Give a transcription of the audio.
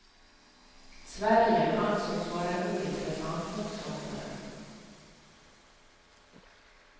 Sverige ansågs vara en ointressant motståndare.